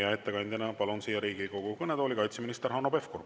Ja ettekandjana palun siia Riigikogu kõnetooli kaitseminister Hanno Pevkuri.